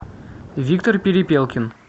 виктор перепелкин